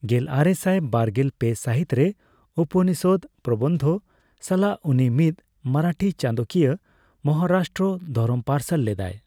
ᱜᱮᱞᱟᱨᱮᱥᱟᱭ ᱵᱟᱨᱜᱮᱞ ᱯᱮ ᱥᱟᱹᱦᱤᱛ ᱨᱮ ᱩᱯᱚᱱᱤᱥᱚᱫ ᱯᱨᱚᱵᱚᱱᱫᱷᱚ ᱥᱟᱞᱟᱜ ᱩᱱᱤ ᱢᱤᱫ ᱢᱚᱨᱟᱴᱷᱤ ᱪᱟᱸᱫᱚᱠᱤᱭᱟᱹ, ᱢᱚᱦᱟᱨᱟᱥᱴᱨᱚ ᱫᱷᱚᱨᱚᱢ ᱯᱟᱨᱥᱟᱞ ᱞᱮᱫᱟᱭ ᱾